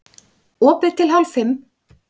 Opið til hálf fimm